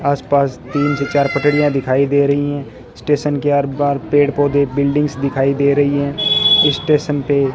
आसपास तीन से चार पटरिया दिखाई दे रही हैं स्टेशन के आर्द पार पेड़ पौधे बिल्डिंग्स दिखाई दे रही है स्टेशन पे --